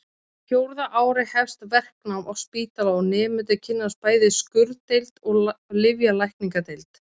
Á fjórða ári hefst verknám á spítala og nemendur kynnast bæði skurðdeild og lyflækningadeild.